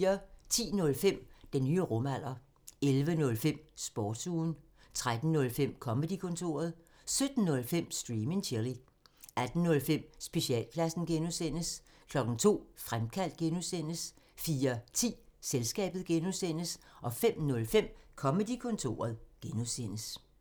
10:05: Den nye rumalder 11:05: Sportsugen 13:05: Comedy-kontoret 17:05: Stream and chill 18:05: Specialklassen (G) 02:00: Fremkaldt (G) 04:10: Selskabet (G) 05:05: Comedy-kontoret (G)